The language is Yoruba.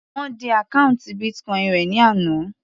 Wọ́n dí àkọ́ùntì Bitcoin rẹ̀ ní àná.